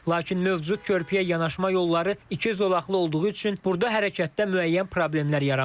Lakin mövcud körpüyə yanaşma yolları iki zolaqlı olduğu üçün burda hərəkətdə müəyyən problemlər yaranırdı.